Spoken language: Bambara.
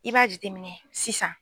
I b'a jateminɛ sisan.